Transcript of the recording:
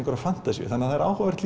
fantasíu það er áhugavert